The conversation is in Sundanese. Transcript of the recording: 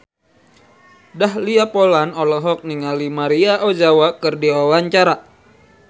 Dahlia Poland olohok ningali Maria Ozawa keur diwawancara